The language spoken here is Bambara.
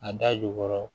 A da jukɔrɔ